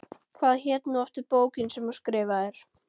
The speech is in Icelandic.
Hvað hét nú aftur bókin sem þú skrifaðir?